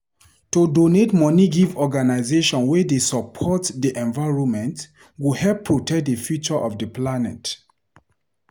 To donate money give organization wey dey support di environment go help protect di future of di planet.